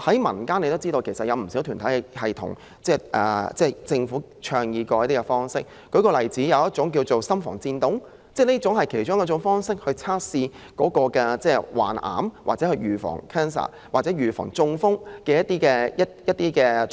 民間其實有不少團體建議政府採取一些方法，例如一種叫做"心房顫動"的測試，這是其中一種用以測試患癌、預防癌症或預防中風的方法。